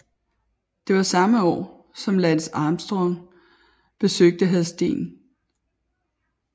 Det var samme år som Lance Armstrong besøgte Hadsten